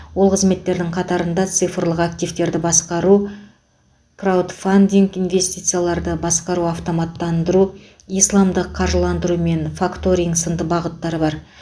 ол қызметтердің қатарында цифрлық активтерді басқару краудфандинг инвестицияларды басқару автоматтандыру исламдық қаржыландыру мен факторинг сынды бағыттары бар